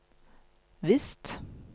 visst